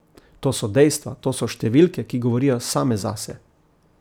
To so dejstva, to so številke, ki govorijo same zase.